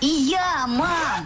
иә мам